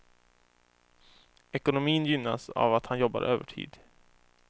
Ekonomin gynnas av att han jobbar övertid.